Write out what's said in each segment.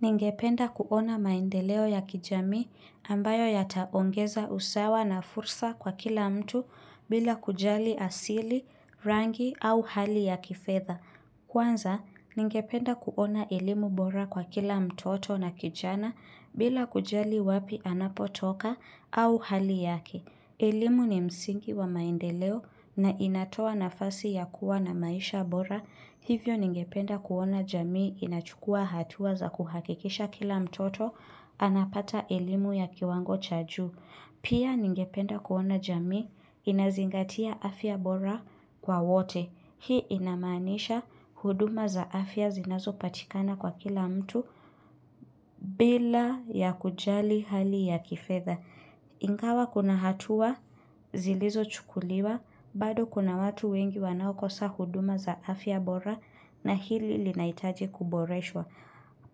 Ningependa kuona maendeleo ya kijamii ambayo yataongeza usawa na fursa kwa kila mtu bila kujali asili, rangi au hali ya kifedha. Kwanza, ningependa kuona elimu bora kwa kila mtoto na kijana bila kujali wapi anapotoka au hali yake. Elimu ni msingi wa maendeleo na inatoa nafasi ya kuwa na maisha bora. Hivyo ningependa kuona jamii inachukua hatua za kuhakikisha kila mtoto anapata elimu ya kiwango cha juu. Pia ningependa kuona jamii inazingatia afya bora kwa wote. Hii inamaanisha huduma za afya zinazo patikana kwa kila mtu bila ya kujali hali ya kifedha. Ingawa kuna hatua, zilizo chukuliwa, bado kuna watu wengi wanaokosa huduma za afya bora na hili linaitaji kuboreshwa.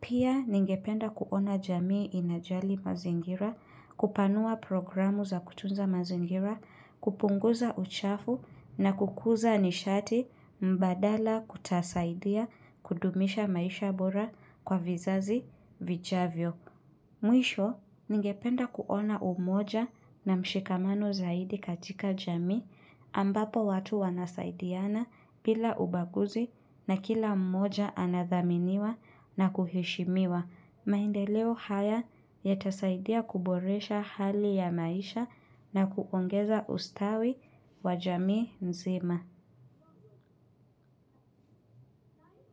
Pia ningependa kuona jamii inajali mazingira, kupanua programu za kutunza mazingira, kupunguza uchafu na kukuza nishati mbadala kutasaidia kudumisha maisha bora kwa vizazi vijavyo. Mwisho, ngependa kuona umoja na mshikamano zaidi katika jamii ambapo watu wanasaidiana bila ubaguzi na kila umoja anadhaminiwa na kuheshimiwa. Maendeleo haya yatasaidia kuboresha hali ya maisha na kuongeza ustawi wa jamii nzima.